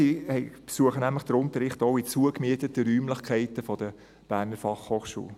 Sie besuchen nämlich den Unterricht auch in zugemieteten Räumlichkeiten der BFH.